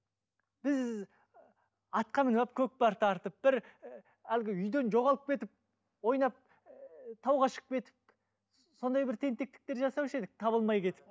біз атқа мініп алып көкпар тартып бір ііі әлгі үйден жоғалып кетіп ойнап ііі тауға шығып кетіп сондай бір тентектіктер жасаушы едік табылмай кетіп